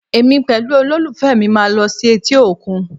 Èmi pẹ̀lú olólùfẹ́ máa lọ sí etí òkun